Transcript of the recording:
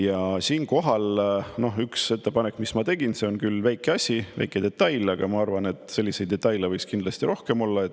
Ja siinkohal üks ettepanek, mis ma tegin, see on küll väike asi, väike detail, aga ma arvan, et selliseid detaile võiks kindlasti rohkem olla.